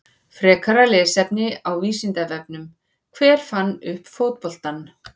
Frekara lesefni á Vísindavefnum: Hver fann upp fótboltann?